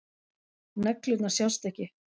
Neglurnar sjást ekki.